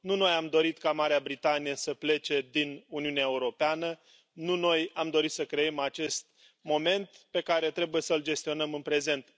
Nu noi am dorit ca Marea Britanie să plece din Uniunea Europeană, nu noi am dorit să creăm acest moment pe care trebuie să l gestionăm în prezent.